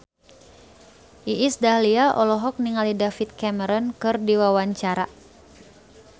Iis Dahlia olohok ningali David Cameron keur diwawancara